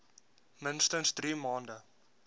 minstens drie maande